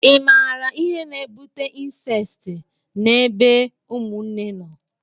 i maara ihe na-ebute incesti na ebe ụmụnne nọ?